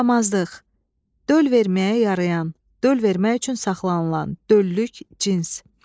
Damazlıq, döl verməyə yarayan, döl vermək üçün saxlanılan, döllük, cins.